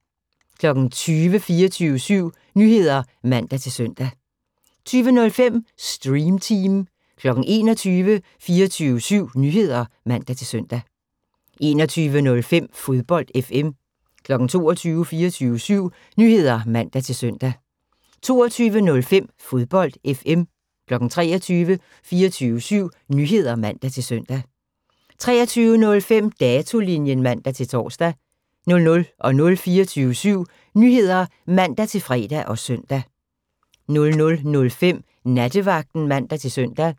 20:00: 24syv Nyheder (man-søn) 20:05: Stream Team 21:00: 24syv Nyheder (man-søn) 21:05: Fodbold FM 22:00: 24syv Nyheder (man-søn) 22:05: Fodbold FM 23:00: 24syv Nyheder (man-søn) 23:05: Datolinjen (man-tor) 00:00: 24syv Nyheder (man-fre og søn) 00:05: Nattevagten (man-søn)